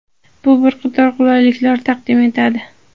Bu bir qator qulayliklar taqdim etadi.